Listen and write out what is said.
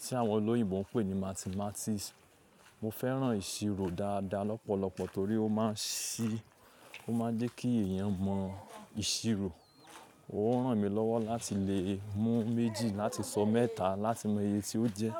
tí àwọn òlòyìnbó ń pè ní mathematics. Mo fẹ́ràn ìṣirò dáadáa lọ́pọ̀lọpọ̀ torí ó máa ń ṣí, ó máa ń jẹ́ kí èèyàn mọ ìṣirò. Ó rán mi lọ́wọ́ láti lè mú méjì láti sọ mẹ́ta láti mọ iye tí ó jẹ́.